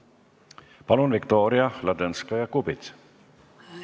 Palun, Viktoria Ladõnskaja-Kubits!